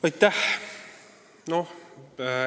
Aitäh!